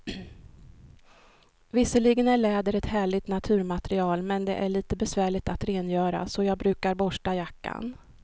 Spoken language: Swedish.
Visserligen är läder ett härligt naturmaterial, men det är lite besvärligt att rengöra, så jag brukar borsta jackan.